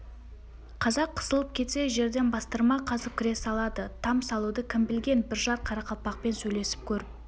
қазақ қысылып кетсе жерден бастырма қазып кіре салады там салуды кім білген бір-жар қарақалпақпен сөйлесіп көріп